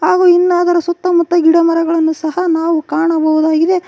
ಹಾಗು ಇನ್ನಾ ಅದರ ಸುತ್ತಮುತ್ತ ಗಿಡಮರಗಳನ್ನು ಸಹ ನಾವು ಕಾಣಬಹುದಾಗಿದೆ.